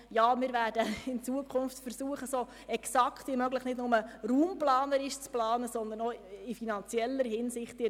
Ja, wir werden in Zukunft versuchen, so exakt wie möglich, nicht nur in raumplanerischer, sondern auch in finanzieller Hinsicht zu planen.